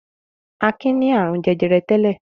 Akin ní àrùn jẹjẹrẹ tẹ́lẹ̀.